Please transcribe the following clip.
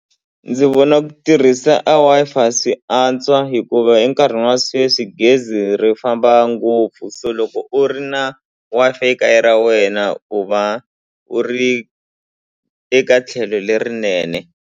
Ndzi vona ku tirhisa a Wi-Fi swi antswa hikuva enkarhini wa sweswi gezi ri famba ngopfu so loko u ri na Wi-Fi ekaya ra wena u va u ri eka tlhelo lerinene.